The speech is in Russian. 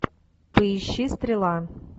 поищи стрела